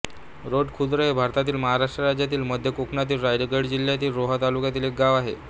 रोठ खुर्द हे भारतातील महाराष्ट्र राज्यातील मध्य कोकणातील रायगड जिल्ह्यातील रोहा तालुक्यातील एक गाव आहे